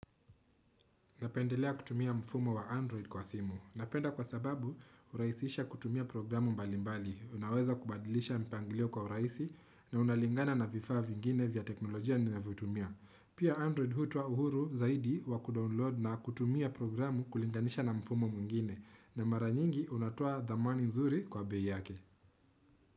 Napendelea kutumia mfumo wa Android kwa simu. Napenda kwa sababu hurahisisha kutumia programu mbalimbali. Unaweza kubadilisha mpanglio kwa urahisi na unalingana na vifaa vingine vya teknolojia ninavyotumia. Pia Android hutoa uhuru zaidi wa kudownload na kutumia programu kulinganisha na mfumo mwingine. Na mara nyingi unatoa thamani nzuri kwa bei yake.